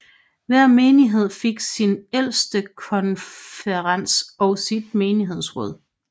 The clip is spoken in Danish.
Hver menighed fik sin ældstekonferens og sit menighedsråd